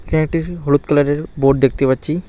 ফ্ল্যাটের হলুদ কালারের বোর্ড দেখতে পাচ্ছি।